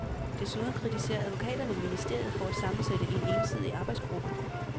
Desuden kritiserer advokaterne ministeriet for at sammensætte en ensidig arbejdsgruppe.